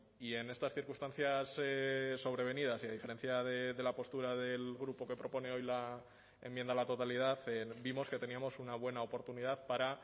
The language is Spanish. y en estas circunstancias sobrevenidas y a diferencia de la postura del grupo que propone hoy la enmienda a la totalidad vimos que teníamos una buena oportunidad para